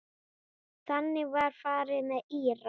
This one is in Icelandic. Þannig var farið með Íra.